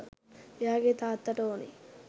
එයාගේ තාත්තට ඕනේ